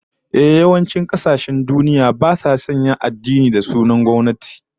Ehh, yawancin kasashen duniya basu sanya wani addini da sunan na gwamnati